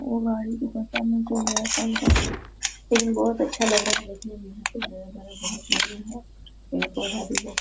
ओ गाड़ी के सामने जो है फिर भी बहुत अच्छा लग रहा है देखने मे